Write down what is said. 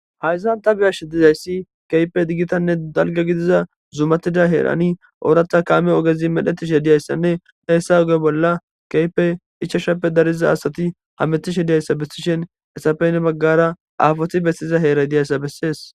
Hayssan ta beashe diizaysi kehippe giitanne dalgga giidida zummatida heeran oraththa kaame oggezi medhdhettishe dizayssane hessa ogge bolla kehipe ichchashape dariiza asati hammetishe diizayssa besishin hessape heni baggara aafoti bettiza heeray diizayssa besses.